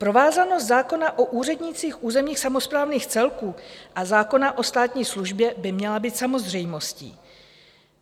Provázanost zákona o úřednících územních samosprávných celků a zákona o státní službě by měla být samozřejmostí.